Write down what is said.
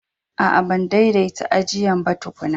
A'a, ban daidanta ajian ba tukunna.